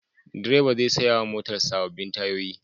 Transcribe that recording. Direba zai saya wa motarsa sabbin tayoyi.